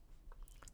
TV 2